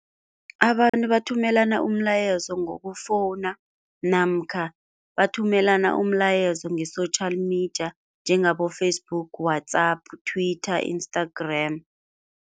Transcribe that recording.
Abantu bathumelana umlayezo ngokufowuna namkha bathumelana umlayezo nge-social media njengabo-Facebook, WhatsApp, Twitter, Instagram.